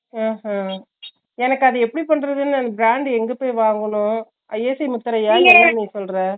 ஹோ ஹோ எனக்கு அது எப்படி பண்றதுனே எனக்கு brand எங்கபோய் வாங்கனு isi முத்திரையா